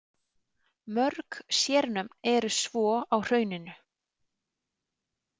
Mörg sérnöfn eru svo á hrauninu.